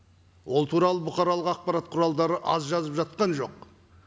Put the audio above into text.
ол туралы бұқаралық ақпарат құралдары аз жазып жатқан жоқ